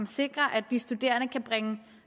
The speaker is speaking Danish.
sikrer at de studerende kan bringe